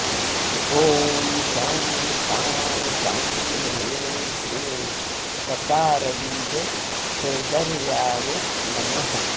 ॐ शं शां षं ह्रीं क्लीं गकारबीजसोदर्याय नमः